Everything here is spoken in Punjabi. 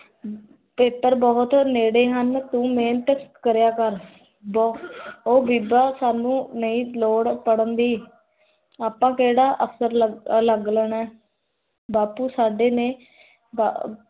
paper ਬਹੂਤ ਨਦੇ ਹਨ ਤੂੰ ਮੇਹਨਤ ਕਰਿਆ ਕਰ ਓਹ ਬੀਬਾ ਸਾਨੂ ਨਹੀ ਲੋੜ ਪੜ੍ਹਨ ਦੀ ਆਪਾ ਕੇਹੜਾ ਅਫਸਰ ਲੱਗ ਜਾਣਾ ਹੈ ਬਾਪੂ ਸਦਾ ਨੀ ਬਾ